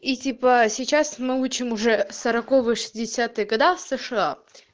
и типа сейчас могучим уже годов сша